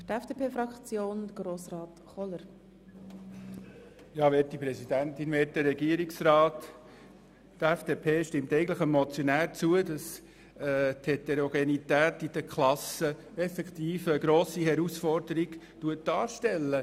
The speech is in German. Die FDPFraktion stimmt dem Motionär zu, dass die Heterogenität in den Klassen tatsächlich eine grosse Herausforderung darstellt.